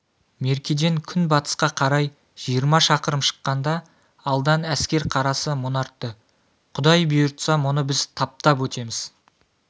меркеден күнбатысқа қарай жиырма шақырым шыққанда алдан әскер қарасы мұнартты құдай бұйыртса мұны біз таптап өтеміз